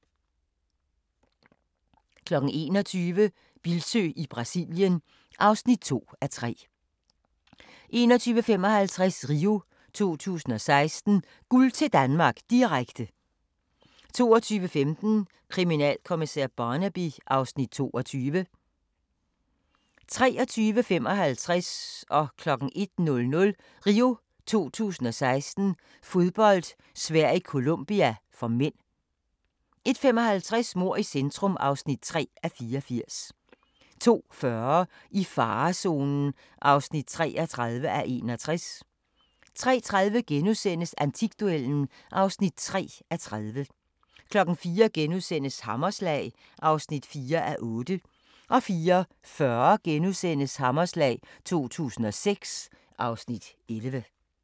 21:00: Bildsøe i Brasilien (2:3) 21:55: RIO 2016: Guld til Danmark, direkte 22:15: Kriminalkommissær Barnaby (Afs. 22) 23:55: RIO 2016: Fodbold - Sverige-Colombia (m) 01:00: RIO 2016: Fodbold - Sverige-Colombia (m) 01:55: Mord i centrum (3:84) 02:40: I farezonen (33:61) 03:30: Antikduellen (3:30)* 04:00: Hammerslag (4:8)* 04:40: Hammerslag 2006 (Afs. 11)*